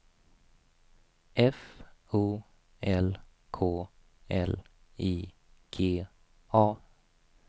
F O L K L I G A